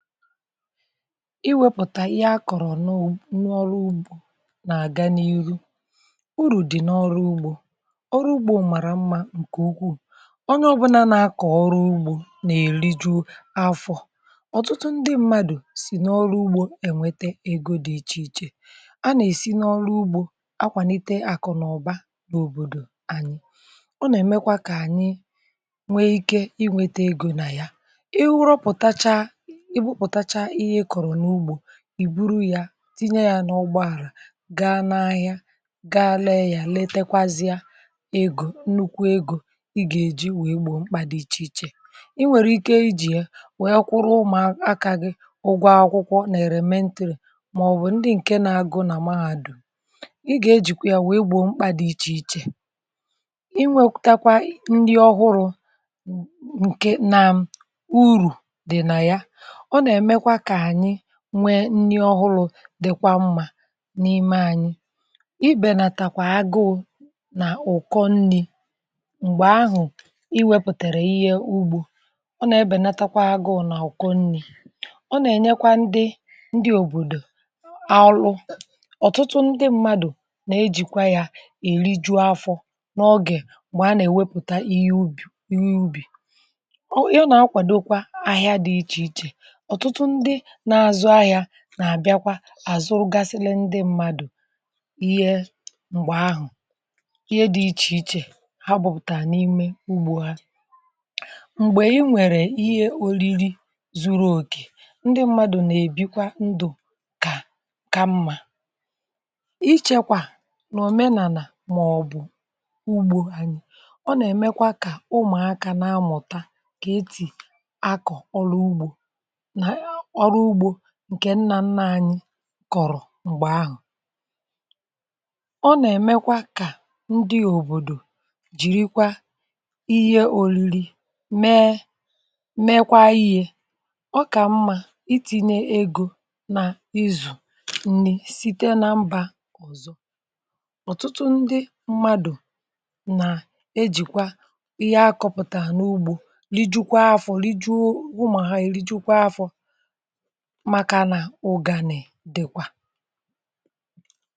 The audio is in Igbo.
iwėpụ̀tà ihe akọ̀rọ̀ n’ọrụ ugbȯ na-àga n’ihu ụrù dì n’ọrụ ugbȯ, ọrụ ugbȯ màrà mmȧ ǹkè ukwuu, onye ọbụna na-akọ̀ ọrụ ugbȯ na-eli ju afọ̀, ọ̀tụtụ ndị mmadụ̀ sì n’ọrụ ugbȯ ènwètè egȯ dị iche iche, a na-esi n’ọrụ ugbȯ akwànite àkụ̀ na ọ̀ba n’òbòdò anyị, ọ nà-èmekwa kà ànyị nwè ike inwėte egȯ na ya, i rụpụ̀tacha, ì butacha ihe ị kọrọ n’ugbȯ, ị buru ya tinye ya n’ọgbọ̀ àrà, gaa n’ahịa, gaa lee ya, letekwazịa egȯ, nnukwu egȯ ị gà-èji wèe gbò mkpà dị iche iche, i nwèrè ike ijì ya wèe kwụrụ ụmụ̀akȧ gị ụgwọ akwụkwọ na èlementèrè màọbụ̀ ndị ǹkè nà-agụ nà mahadù, ị gà-ejìkwa ya wèe gbò mkpà dị̀ iche iche i nwètakwa nri ọhụrụ̇ ǹkè naàm ụ̀rù dị̀ nà ya, ọ na-èmekwa ka ànyị nwee nni ọhụrụ dịkwa mmà n’ime anyị̇, i bénatakwa agụụ nà ụkọ nni̇ m̀gbè ahụ̀ i wépụ̀tèrè ihe ugbȯ, ọ nà-èbénatakwa agụụ nà ụkọ nni̇, ọ nà-ènyekwa ndị òbòdò orù, ọ̀tụtụ ndị mmadụ̀ nà-ejìkwa ya èriju afọ̇ n’ọgè m̀gbè a nà-èwèpùta ihe ubì, ihe ubì. Ọ nà-akwàdòkwa ahịa dị iche iche, ọ̀tụtụ ndị na-azụ ahịa nà-àbịakwa àzụ gàsịlị ndị mmadụ̀ ihe m̀gbè ahụ̀ ihe dị̇ iche iche ha bụ̀pụ̀tà n’ime ugbȯ ha m̀gbè i nwèrè ihe olili zuru okè, ndị mmadụ̀ nà-èbikwa ndụ̀ kà mmȧ ichėkwà nà òmenàlà, mà ọ̀bụ̀ ugbȯ anyị̇, ọ nà-èmekwa kà ụmụ̀akȧ na-amụ̀ta kà etì akọ̀ ọlụ ugbȯ, ọrụ ugbȯ ǹkè nnà-ńnà ànyị̇ kọ̀rọ̀ m̀gbè ahụ̀ ọ nà-èmekwa kà ndị òbòdò jìrikwa ihe òrìrì mee mēkwa ihe ọkà mmȧ, iti̇nyė egȯ nà izù nri site na mbà ọ̀zọ ọ̀tụtụ ndị mmadụ̀ nà-ejìkwa ihe akọ̇pụ̀tà n’ugbȯ rijùkwa afọ̇, rijùọ ụmụ ha, èrijikwuo afọ̇ makà nà ụgàni̇ dìkwà.